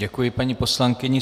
Děkuji paní poslankyni.